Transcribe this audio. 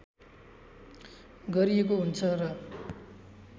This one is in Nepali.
गरिएको हुन्छ र